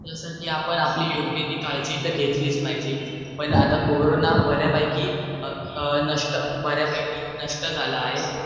जस कि आपण आपली योग्य ती काळजी तर घेतलीच पाहिजे पण आता कोरोना बर्यापैकी नष्ट झालेला अआहे